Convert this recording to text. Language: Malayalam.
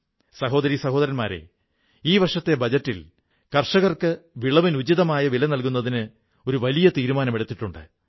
സഹോദരീ സഹോദരന്മാരേ ഈ വർഷത്തെ ബജറ്റിൽ കർഷകർക്ക് വിളവിന് ഉചിതമായ വില നല്കുന്നതിന് ഒരു വലിയ തീരുമാനമെടുത്തിട്ടുണ്ട്